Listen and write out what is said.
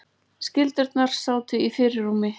Skyldurnar sátu í fyrirrúmi.